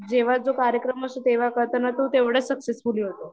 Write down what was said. जेव्हा तो कार्यक्रम असतो तेव्हा करताना तो तेवढा सक्सेसफुली होतो